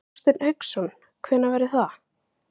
Hafsteinn Hauksson: Hvenær verður það?